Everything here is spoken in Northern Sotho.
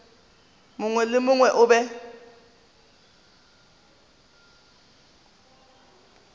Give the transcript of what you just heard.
mongwe le mongwe o be